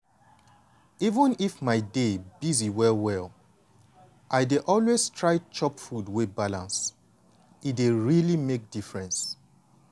even if my day busy well well i dey always try chop food wey balance. e dey really make difference.